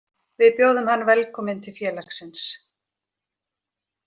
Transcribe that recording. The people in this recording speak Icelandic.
Við bjóðum hann velkominn til félagsins